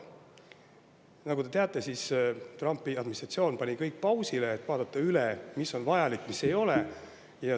Nagu te teate, Trumpi administratsioon pani kõik pausile, et vaadata üle, mis on vajalik ja mis ei ole.